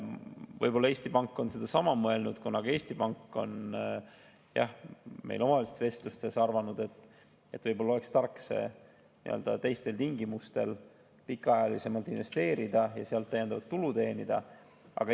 Võib-olla Eesti Pank on sedasama mõelnud, kuna Eesti Pank on meil omavahelistes vestlustes arvanud, et võib-olla oleks tark see teistel tingimustel pikaajalisemalt investeerida ja sealt täiendavat tulu teenida.